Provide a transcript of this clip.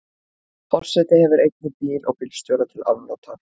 Forseti hefur einnig bíl og bílstjóra til afnota.